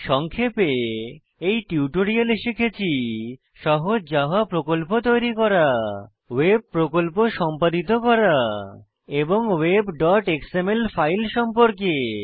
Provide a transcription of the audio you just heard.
সংক্ষেপে এই টিউটোরিয়ালে শিখেছি সহজ জাভা প্রকল্প তৈরী করা ওয়েব প্রকল্প সম্পাদিত করা এবং webএক্সএমএল ফাইল সম্পর্কে